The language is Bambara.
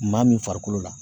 Maa min farikolo la